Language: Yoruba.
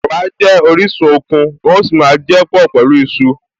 Ẹ̀wà jẹ́ orísun okun, wọ́n a sì máa jẹ́ pọ̀ pẹ̀lú iṣu